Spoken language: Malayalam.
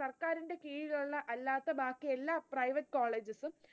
സർക്കാരിന്റെ കീഴിലുള്ള അല്ലാത്ത ബാക്കിയെല്ല private colleges സും